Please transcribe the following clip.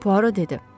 Puaro dedi.